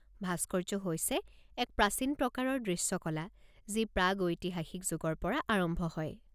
ভাস্কৰ্য হৈছে এক প্ৰাচীন প্ৰকাৰৰ দৃশ্যকলা যি প্ৰাগৈতিহাসিক যুগৰ পৰা আৰম্ভ হয়।